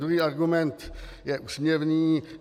Druhý argument je úsměvný.